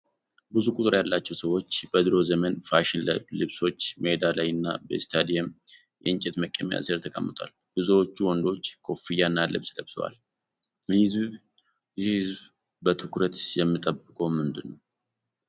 ብዙ ቁጥር ያላቸው ሰዎች በድሮ ዘመን ፋሽን ልብሶች ሜዳ ላይና በስታዲየም የእንጨት መቀመጫ ስር ተቀምጠዋል። ብዙዎቹ ወንዶች ኮፍያና ልብስ ለብሰዋል፤ ይህ ህዝብ በትኩረት የሚጠብቀው ምንድነው?